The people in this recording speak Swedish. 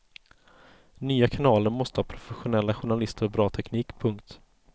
Nya kanaler måste ha professionella journalister och bra teknik. punkt